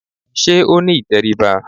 Sé ó ní ìtẹríba?